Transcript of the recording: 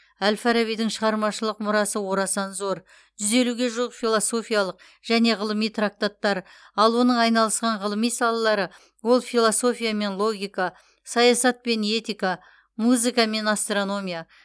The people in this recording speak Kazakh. әл фарабидің шығармашылық мұрасы орасан зор жүз елуге жуық философиялық және ғылыми трактаттар ал оның айналысқан ғылыми салалары ол философия мен логика саясат пен этика музыка мен астрономия